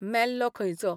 मेल्लो खंयचो !